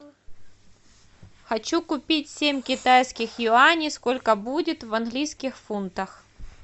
хочу купить семь китайских юаней сколько будет в английских фунтах